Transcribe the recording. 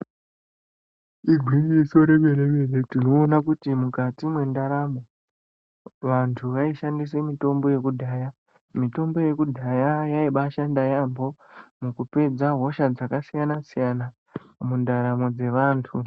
Igwinyiso remene-mene tinoona kuti mukati mwendaramo vantu vaishandisea mitombo yekudhaya. Mitombo yekudhaya yaibaashanda yaambo mukupedza hosha dzakasiyana-siyana mundaramo dzevantu.